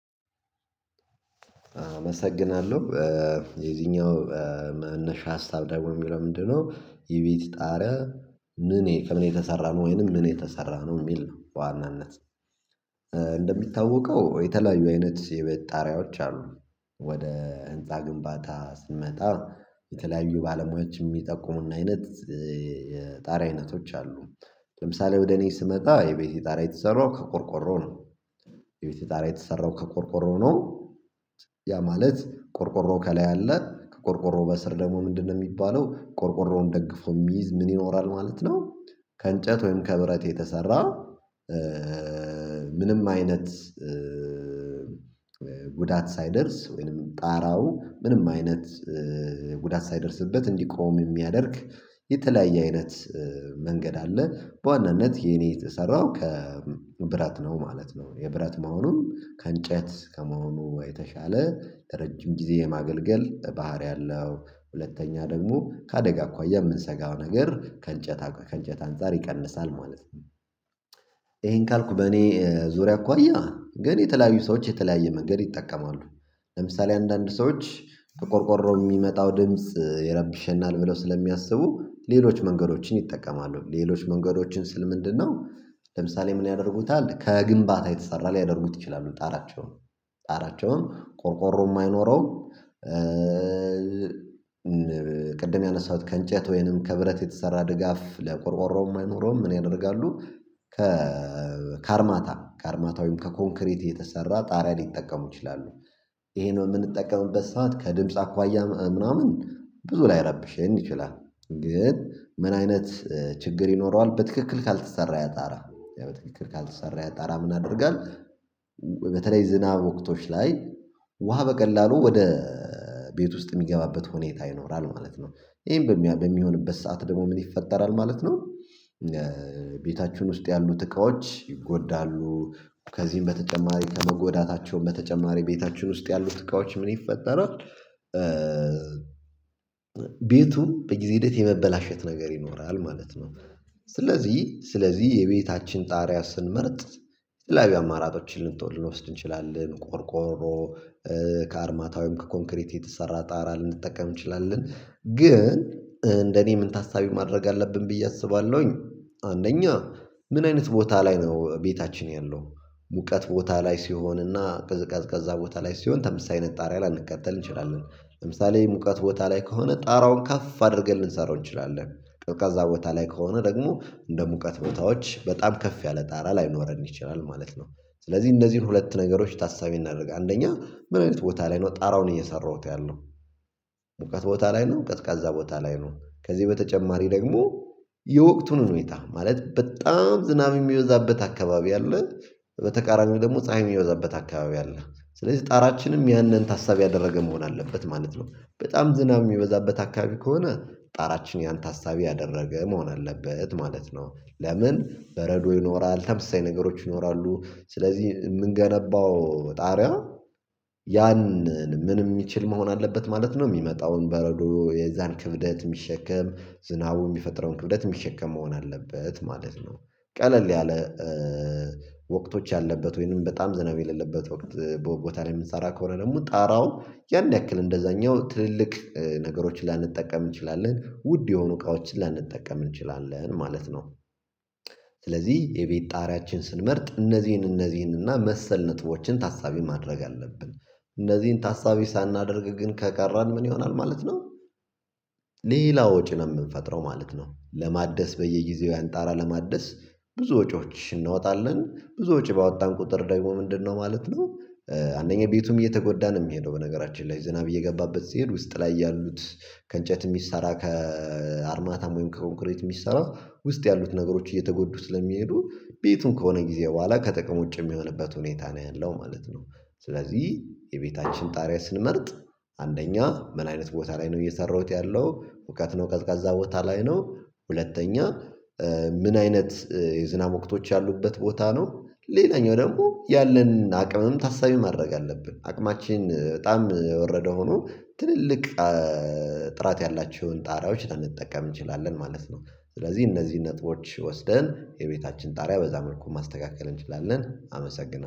አመሰግናለሁ የዚኛው መነሻ ሀሳብ ደግሞ የሚለው ምንድነው የቤትህ ጣሪያ ምን ከምን የተሰራ ነው ወይንም ምን የተሰራ ነው የሚል ነው? በዋናነት እንደሚታወቀው የተለያዩ አይነት የቤት ጣሪያዎች አሉ። ወደ ህንፃ ግንባታ ስንመጣ የተለያዩ ባለሙያዎች የሚጠቁሙን አይነት የጣሪያ አይነቶች አሉ። ለምሳሌ ወደ እኔ ስመጣ የቤቴ ጣራ የተሰራው ከቆርቆሮ ነው። የቤቴ ጣራ የተሰራው ከቆርቆሮ ነው። ያ ማለት ቆርቆሮ ከላይ አለ ከቆርቆሮ በስር ደግሞ ምንድነው የሚባለው ቆርቆሮውን ደግፎ የሚይዝ ምን ይኖራል ማለት ነው? ከእንጨት ወይም ከብረት የተሰራ ምንም አይነት ጉዳት ሳይደርስ ወይንም ጣራው ምንም አይነት ጉዳት ሳይደርስበት እንዲቆም የሚያደርግ የተለያየ አይነት መንገድ አለ። በዋናነት የኔ የተሰራው ከብረት ነው ማለት ነው። የብረት መሆኑን ከእንጨት ከመሆኑ የተሻለ ረጅም ጊዜ የማገልገል ባህሪ አለው ሁለተኛ ደግሞ ከአደጋ እንኳን የምንሰጋው ነገር ከእንጨት ከእንጨት አንፃር ይቀንሳል ማለት። ይሄን ካልኩ በኔ ዙሪያ እኮያ ግን የተለያዩ ሰዎች የተለያየ መንገድ ይጠቀማሉ። ለምሳሌ አንዳንድ ሰዎች ከቆርቆሮ የሚመጣው ድምጽ ይረብሸናል ብለው ስለሚያስቡ ሌሎች መንገዶችን ይጠቀማሉ ሌሎች መንገዶችን ስል ምንድነው? ለምሳሌ ምን ያደርጉታል ከግንባታ የተሰራ ሊያደርጉት ይችላሉ ጣራቸውን? ጣራቸውን ቆርቆሮ የማይኖረው ቅድም ያነሳሁት ከእንጨት ወይንም ከብረት የተሰራ ድጋፍ ለቆርቆሮውም አይኖረውም ምን ያደርጋሉ? ከካርማታ ካርማታዊም ከኮንክሪት የተሰራ ጣሪያ ሊጠቀሙ ይችላሉ። ይሄንን የምንጠቀምበት ሰዓት ከድምጽ አኳያ ምናምን ብዙ ላይረብሽኝ ይችላል። ግን ምን አይነት ችግር ይኖረዋል በትክክል ካልተሰራ ያጣራ በትክክል ካልተሰራ ያጣራ ምን ያደርጋል? በተለይ ዝናብ ወቅቶች ላይ ውሃ በቀላሉ ወደ ቤት ውስጥ የሚገባበት ሁኔታ ይኖራል ማለት ነው። ይሄን በሚሆንበት ሰዓት ደግሞ ምን ይፈጠራል ማለት ነው። ቤታችሁን ውስጥ ያሉት እቃዎች ይጎዳሉ። ከዚህም በተጨማሪ ከመጎዳታቸውም በተጨማሪ ቤታችን ውስጥ ያሉት እቃዎች ምን ይፈጠራል? ቤቱ በጊዜ ሂደት የመበላሸት ነገር ይኖራል ማለት ነው። ስለዚህ ስለዚህ የቤታችን ጣሪያ ስንመርጥ የተለያዩ አማራጮች ልንተወስድ እንችላለን ቆርቆሮ ከአርማታ ዊም ከኮንክሪት የተሰራ ጣራ ልንጠቀም እንችላለን ግን እንደኔ ምን ታሳቢ ማድረግ አለብን ብዬ አስባለሁኝ። አንደኛ ምን አይነት ቦታ ላይ ነው ቤታችን ያለው ሙቀት ቦታ ላይ ሲሆንና ቅዝቀዝቃዛ ቦታ ላይ ሲሆን ተመሳሳ አይነት ጣሪያ ላንቀጠል እንችላለን። ለምሳሌ ሙቀት ቦታ ላይ ከሆነ ጣራውን ከፍ አድርገን ልንሰራው እንችላለን ቀዝ ቃዛ ቦታ ላይ ከሆነ ደግሞ እንደ ሙቀት ቦታዎች በጣም ከፍ ያለ ጣራ ላይኖረን ይችላል ማለት ነው። ስለዚህ እንደዚህን ሁለት ነገሮች ታሳቢ እናርግ አንደኛ ምን አይነት ቦታ ላይ ነው ጣራው ነው እየሰራሁት ያለው ሙቀት ቦታ ላይ ነው ቀዝቃዛ ቦታ ላይ ነው። ከዚህ በተጨማሪ ደግሞ የወቅቱን ሁኔታ ማለት በጣም ዝናብ የሚወዛበት አካባቢ አለን። በተቃራኒው ደግሞ ፀሀይ የሚበዛበት አካባቢ አለ። ስለዚህ ጣራችንም ያንን ታሳብ ያደረገ መሆን አለበት ማለት ነው በጣም ዝናብ የሚበዛበት አካባቢ ከሆነ ጣራችን ያን ታሳቢ ያደረገ መሆን አለበት ማለት ነው። ለምን በረዶ ይኖራል ተመሳሳይ ነገሮች ይኖራሉ ስለዚህ የምንገነባው ጣሪያ ያንን ምን የሚችል መሆን አለበት ማለት ነው። የሚመጣውን በረዶ የዛን ክብደት የሚሸከም ዝናቡ የሚፈጥረውን ክብደት የሚሸከም መሆን አለበት ማለት ነው። ቀለል ያለ ወቅቶች ያለበት ወይንም በጣም ዝናብ የሌለበት ወቅት ቦታ ላይ የምንሰራ ከሆነ ደግሞ ጣራው ያን ያክል እንደዛኛው ትልልቅ ነገሮችን ላንጠቀም እንችላለን ውድ የሆኑ እቃዎችን ላንጠቀም እንችላለን ማለት ነው። ስለዚህ የቤት ጣሪያችን ስንመርጥ እነዚህን እነዚህን እና መሰል ነጥቦችን ታሳቢ ማድረግ አለብን። እነዚህን ታሳቢ ሳናደርግ ግን ከቀረን ምን ይሆናል ማለት ነው? ሌላ ወጪ ነው የምንፈጥረው ማለት ነው። ለማደስ በየጊዜው ያንጣራ ለማደስ ብዙ ወጪዎች እናወጣለን ብዙ ወጪ ባወጣን ቁጥር ደግሞ ምንድነው ማለት ነው? አንደኛ ቤቱም እየተጎዳን የሚሄደው በነገራችን ላይ ዝናብ እየገባበት ሲሄድ ውስጥ ላይ ያሉት ከእንጨት የሚሰራ ከአርማታም ወይም ከኮንክሬት የሚሰራ ውስጥ ያሉት ነገሮች እየተጎዱ ስለሚሄዱ ቤቱን ከሆነ ጊዜ በኋላ ከጥቅም ውጭ የሚሆንበት ሁኔታ ነው ያለው ማለት ነው። ስለዚህ የቤታችን ጣሪያ ስንመርጥ አንደኛ ምን አይነት ቦታ ላይ ነው እየሰራሁት ያለው ሙቀት ነው ቀዝቃዛ ቦታ ላይ ነው ሁለተኛ ምን አይነት የዝናብ ወቅቶች ያሉበት ቦታ ነው ሌላኛው ደግሞ ያለን አቅምም ታሳቢ ማድረግ አለብን አቅማችን በጣም የወረደ ሆኖ ትልልቅ ጥራት ያላችሁን ጣሪያዎች ልንጠቀም እንችላለን ማለት ነው። ስለዚህ እነዚህ ነጥቦች ወስደን የቤታችን ጣሪያ በዛ መልኩ ማስተካከል እንችላለን አመሰግናለሁ